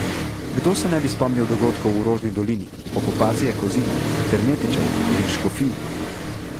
Kdo se ne bi spomnil dogodkov v Rožni dolini, okupacije Kozine, Fernetičev in Škofij.